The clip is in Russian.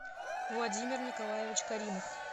владимир николаевич каримов